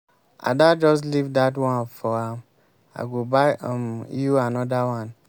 ada just leave dat one for am i go buy um you another one.